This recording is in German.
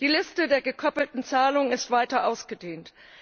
Die Liste der gekoppelten Zahlung wurde weiter ausgedehnt.